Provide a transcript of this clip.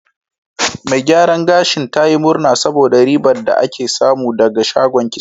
Mai gyaran gashin ta yi murna saboda ribar da ake samu ɗaga shagon kitson.